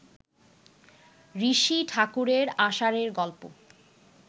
ঋষি ঠাকুরের আষাঢ়ে গল্প